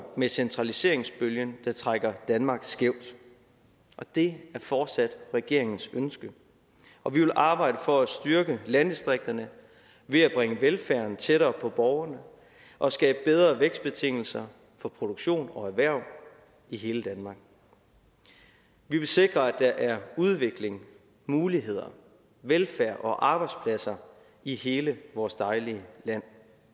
med centraliseringsbølgen der trækker danmark skævt det er fortsat regeringens ønske og vi vil arbejde for at styrke landdistrikterne ved at bringe velfærden tættere på borgerne og skabe bedre vækstbetingelser for produktion og erhverv i hele danmark vi vil sikre at der er udvikling muligheder velfærd og arbejdspladser i hele vores dejlige land